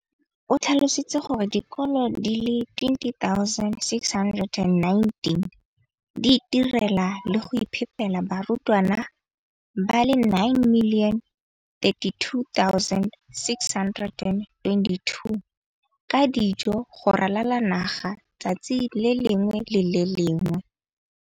O tlhalositse gore dikolo di le 20 619 di itirela le go iphepela barutwana ba le 9 032 622 ka dijo go ralala naga letsatsi le lengwe le le lengwe.